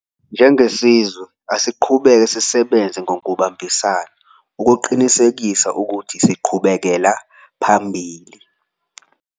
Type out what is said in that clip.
Njengesizwe, asiqhubeke sisebenze ngokubambisana ukuqinisekisa ukuthi siqhubekela phambili.